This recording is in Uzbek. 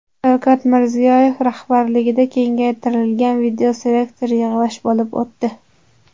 Shavkat Mirziyoyev rahbarligida kengaytirilgan videoselektor yig‘ilish bo‘lib o‘tdi.